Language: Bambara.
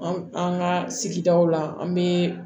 An an ka sigidaw la an bɛ